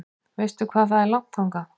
Veistu hvað er langt þangað?